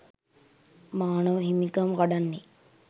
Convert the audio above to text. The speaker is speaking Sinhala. මානව හිමිකම් කඩන්නේ